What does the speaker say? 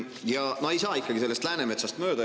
Ja no ei saa ikkagi sellest Läänemetsast mööda.